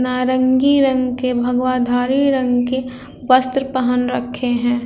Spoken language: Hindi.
नारंगी रंग के भगवाधारी वस्त्र पहेन रखे हैं।